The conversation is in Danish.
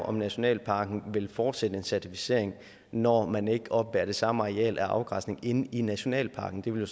om nationalparken vil fortsætte en certificering når man ikke oppebærer det samme areal af afgræsning inde i nationalparken det ville